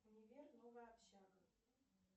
универ новая общага